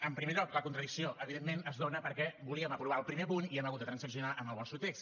en primer lloc la contradicció evidentment es dóna perquè volíem aprovar el primer punt i hem hagut de transaccionar amb el vostre text